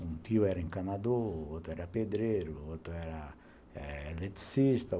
Um tio era encanador, outro era pedreiro, outro era eh eletricista.